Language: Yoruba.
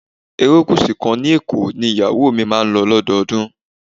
Erékùsù kan ní Èkó ni ìyàwó mi máa ń lò lọ́dọọdún.